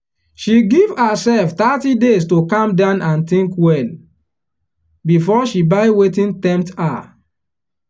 she give herself thirty days to calm down and think well before she buy wetin tempt her.